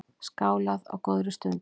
Skálað á góðri stund.